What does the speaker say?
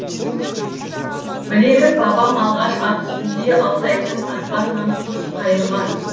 білерім бабам алғаш ат үстінде алтайдың аспанынан құс қайырған